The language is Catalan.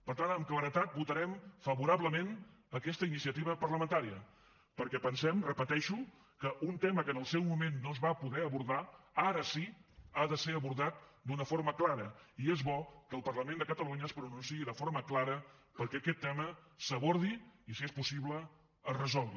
per tant amb claredat votarem favorablement aquesta iniciativa parlamentària perquè pensem ho repeteixo que un tema que en el seu moment no es va poder abordar ara sí que ha de ser abordat d’una forma clara i és bo que el parlament de catalunya es pronunciï de forma clara perquè aquest tema s’abordi i si és possible es resolgui